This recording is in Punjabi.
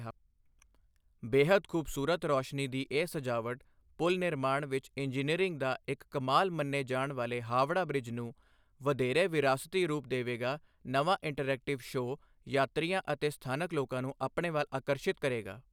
ਬੇੱਹਦ ਖੂਬਸੂਰਤ ਰੋਸ਼ਨੀ ਦੀ ਇਹ ਸਜਾਵਟ, ਪੁਲ ਨਿਰਮਾਣ ਵਿੱਚ ਇੰਜੀਨੀਅਰਿੰਗ ਦਾ ਇੱਕ ਕਮਾਲ ਮੰਨੇ ਜਾਣ ਵਾਲੇ ਹਾਵੜਾ ਬ੍ਰਿਜ ਨੂੰ, ਵਧੇਰੇ ਵਿਰਾਸਤੀ ਰੂਪ ਦੇਵੇਗਾ ਨਵਾਂ ਇੰਟਰੈਕਟਿਵ ਸ਼ੋਅ ਯਾਤਰੀਆਂ ਅਤੇ ਸਥਾਨਕ ਲੋਕਾਂ ਨੂੰ ਆਪਣੇ ਵੱਲ ਆਕਰਸ਼ਿਤ ਕਰੇਗਾ।